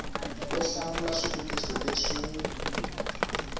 u hlamula swivutiso leswi wu